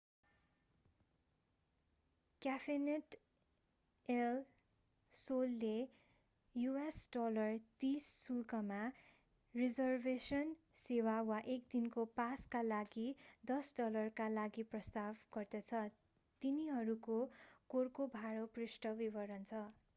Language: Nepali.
क्याफेनेट एल सोलले us$30 शुल्कमा रिजर्भेसन सेवा वा एक दिनको पासका लागि $10 का लागि प्रस्ताव गर्दछ। तिनीहरूको कोर्कोभाडो पृष्ठमा विवरण छ।